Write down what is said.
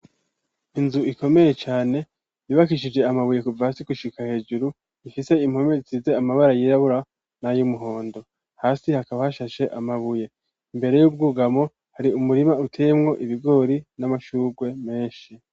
Inzu ikomeye cane bibakishije amabuye kuva asi gushika hejuru, ifise impome zize amabara yirabura nay’umuhondo, hasi hakaba hashashe amabuye, imbere y'ubwugamo hari umurima uteyemwo ibigori n'amashurwe menshi.